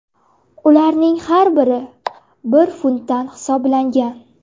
Ularning har biri bir funtdan hisoblangan.